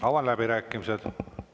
Avan läbirääkimised.